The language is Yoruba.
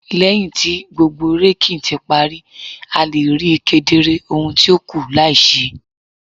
Lẹhin ti gbogbo raking ti pari, a le rii kedere ohun ti o kù lai ṣe